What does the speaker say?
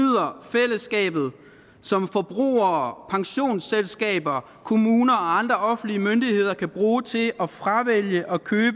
som forbrugere pensionsselskaber kommuner og andre offentlige myndigheder kan bruge til at fravælge